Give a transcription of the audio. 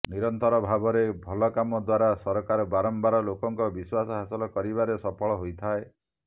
ନିରନ୍ତର ଭାବରେ ଭଲ କାମ ଦ୍ୱାରା ସରକାର ବାରମ୍ବାର ଲୋକଙ୍କ ବିଶ୍ୱାସ ହାସଲ କରିବାରେ ସଫଳ ହୋଇଥାଏ